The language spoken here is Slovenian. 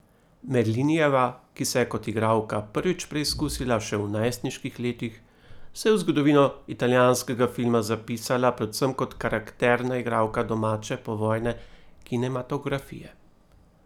Merlinijeva, ki se je kot igralka prvič preizkusila še v najstniških letih, se je v zgodovino italijanskega filma zapisala predvsem kot karakterna igralka domače povojne kinematografije.